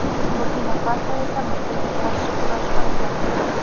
Burkina-Faso esa Misrga qarshi kurash olib boradi.